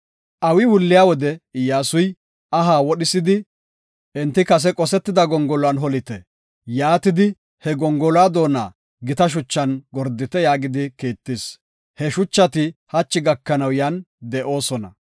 Awi wulliya wode Iyyasuy, “Aha wodhisidi, enti kase qosetida gongoluwan holite. Yaatidi, he gongoluwa doona gita shuchan gordite” yaagidi kiittis. He shuchati hachi gakanaw yan de7oosona.